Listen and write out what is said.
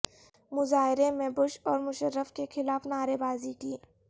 مظاہرے میں بش اور مشرف کے خلاف نعرے بازی کی